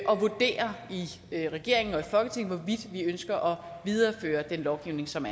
og vurdere i regeringen og folketinget hvorvidt vi ønsker at videreføre den lovgivning som